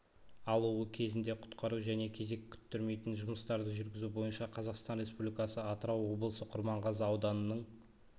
алуы кезінде құтқару және кезек күтірмейтін жұмыстарды жүргізу бойынша қазақстан республикасы атырау облысы құрманғазы ауданының